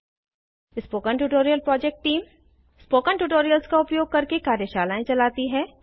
spoken tutorial project team spoken tutorials का उपयोग करके कार्यशालाएं चलाती है